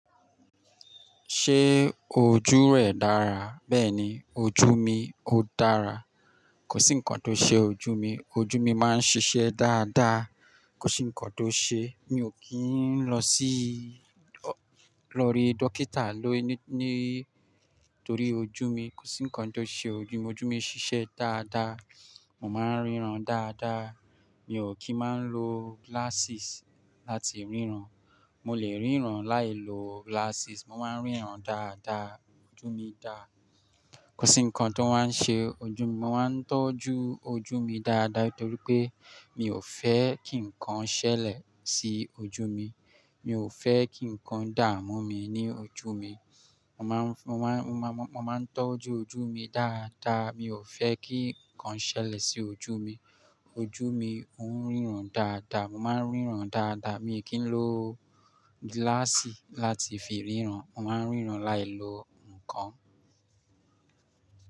Ṣé ojú rẹ̀ dára? Bẹ́ẹ̀ni, ojú mi ó dára. Kò sí nǹkan tó ṣe ojú mi. Ojú mi máa ń ṣiṣẹ́ dáadáa. Kò sí nǹkan tó ṣe, mi ò kí ń lọ sí, lọ rí dókítà ló ní, nítorí ojú mi. Kò sí nǹkan tó ṣe ojú mi. Ojú mi ń ṣiṣẹ́ dáadáa. Mo máa ń ríran dáadáa. Mi ò kí máa ń lo glasses láti ríran. Mo lè ríran láìlo glasses. Mo máa ń ríran dáadáa. Ojú mi dára. Kò sí nǹkan tó máa ń ṣe ojú mi. Mo máa ń tọ́jú ojú mi dáadáa nítorí pé mi ò fẹ́ kí nǹkan ṣẹlẹ̀ sí ojú mi. Mi ò fẹ́ kí nǹkan dààmú mi ní ojú mi. Mo máa ń, mo máa ń, mo máa ń tọ́jú ojú mi dáadáa. Mi ò fẹ́ kí nǹkan ṣẹlẹ̀ sí ojú mi. Ojú mi ń ríran dáadáa. Mo máa ń ríran dáadáa. Mi ò kí ń lo gíláàsì láti fi ríran. Mo máa ń ríran láìlo nǹkan.